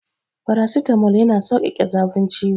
Farasitamol yana saukake zafin ciwo.